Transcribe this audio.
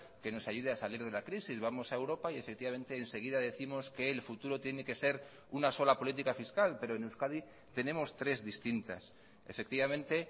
que nos ayude a salir de la crisis vamos a europa y efectivamente enseguida décimos que el futuro tiene que ser una sola política fiscal pero en euskadi tenemos tres distintas efectivamente